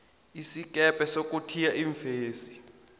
isikebhe sokuthiya iimfesi